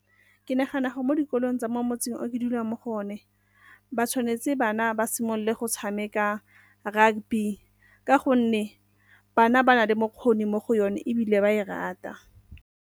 Ke nagana gore mo dikolong tsa mo motseng o ke dulang mo go one, ba tshwanetse bana ba simolole go tshameka rugby ka gonne bana ba na le bokgoni mo go yone ebile ba e rata.